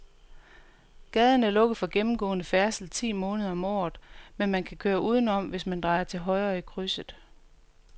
Gaden er lukket for gennemgående færdsel ti måneder om året, men man kan køre udenom, hvis man drejer til højre i krydset.